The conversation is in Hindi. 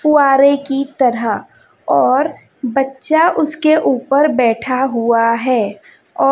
फुआरे की तरह और बच्चा उसके ऊपर बैठा हुआ है औ--